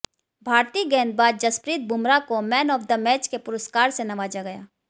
भारती गेंदबाज जसप्रीत बुमराह को man of the match के पुरस्कार से नवाजा गया